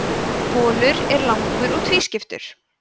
bolur er langur og tvískiptur